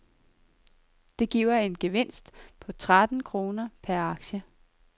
Det giver en gevinst på tretten kroner per aktie.